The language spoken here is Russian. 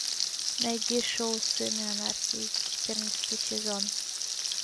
найди шоу сыны анархии четырнадцатый сезон